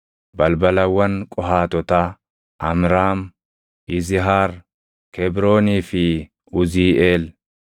Balbalawwan Qohaatotaa: Amraam, Yizihaar, Kebroonii fi Uziiʼeel.